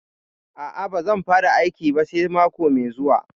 A'a, ba zan fara aiki ba sai mako mai zuwa.